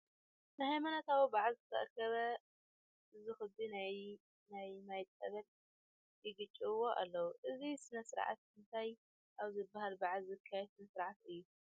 ንነሃይማኖታዊ በዓል ዝተኣከበ ዝክቢ ናይ ማይ ፀበል ይርጨዎ ኣሎ፡፡ እዚ ስነ ስርዓት እንታይ ኣብ ዝበሃል በዓል ዝካየድ ስነ ስርዓት እዩ?